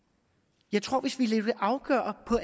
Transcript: jeg tror at hvis vi lader det afgøre